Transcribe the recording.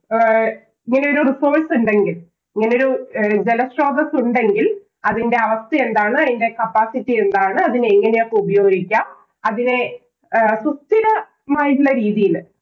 ആഹ് ഇങ്ങനെ ഒരു resource ഉണ്ടെങ്കില്‍, ഇങ്ങനെയൊരു ജലസ്രോതസ് ഉണ്ടെങ്കില്‍ അതിന്‍റെ അവസ്ഥ എന്താണ്? അതിന്‍റെ capacity എന്താണ്? അതിനെ എങ്ങനെയൊക്കെ ഉപയോഗിക്കാം. അതിനെ സുസ്ഥിരമായിട്ടുള്ള രീതിയില്